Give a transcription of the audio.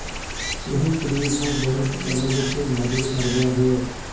ਇਹ ਸਰੀਰ ਨੂੰ ਬੈਲਸ ਕਰਨ ਵਿੱਚ ਮਦਦ ਕਰਦਾ ਹੈ